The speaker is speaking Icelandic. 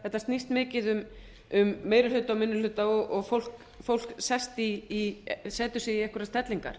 þetta snýst mikið um meiri hluta og minni hluta og fólk setur sig í einhverjar stellingar